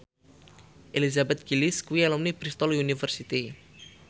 Elizabeth Gillies kuwi alumni Bristol university